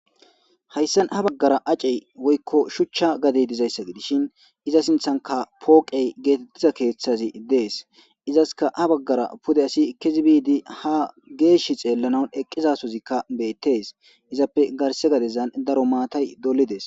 Hayssan ha baggara acey woykko shuchcha gade dizayssa gidishin iza sinthanka pooqey geetettiza keeththazi dees izaska ha baggara pude asi kizibiidi ha geesh xeellanan eqqizasozikka beettees izappe garse gadezan daro maatay dolides.